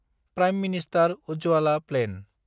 prime minister Ujjwala plan